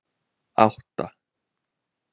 átta